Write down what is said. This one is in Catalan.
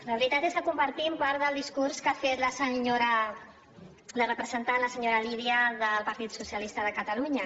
la veritat és que compartim part del discurs que ha fet la senyora la representant la senyora lídia del partit dels socialistes de catalunya